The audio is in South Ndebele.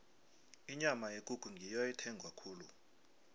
inyama yekukhu ngiyo ethengwa khulu